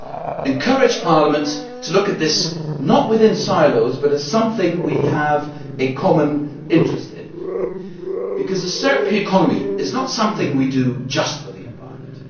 I would encourage Parliament to look at this, not within silos, but as something we have a common interest in, because a circular economy is not something we do just for the environment.